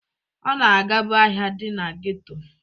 Ọ na-agabu ahịa dị na geto.